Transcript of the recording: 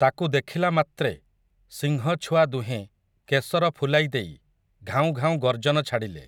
ତାକୁ ଦେଖିଲାମାତ୍ରେ, ସିଂହଛୁଆ ଦୁହେଁ କେଶର ଫୁଲାଇ ଦେଇ, ଘାଉଁ ଘାଉଁ ଗର୍ଜନ ଛାଡ଼ିଲେ ।